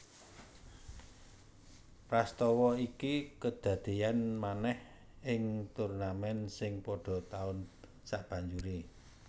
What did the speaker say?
Prastawa iki kedadéyan manèh ing turnamèn sing padha taun sabanjuré